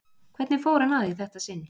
Hvernig fór hann að í þetta sinn?